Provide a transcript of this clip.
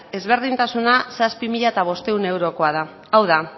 ezberdintasuna zazpi mila bostehun eurokoa da hau da